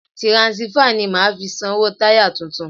Tiransífà ni màá fi sanwó táyà tuntun.